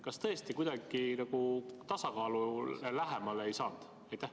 Kas te tõesti kuidagi nagu tasakaalule lähemale ei saanud?